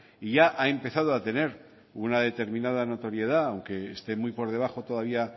y ya ha empezado a tener una determinada notoriedad aunque esté muy por debajo todavía